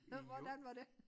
Hvordan var det?